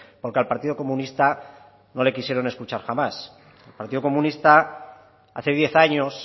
porque al partido comunista no le quisieron escuchar jamás el partido comunista hace diez años